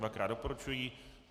Dvakrát doporučují.